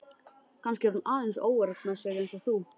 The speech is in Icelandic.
Kannski er hún aðeins óörugg með sig eins og þú.